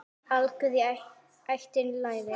Algjör í ættinni leri.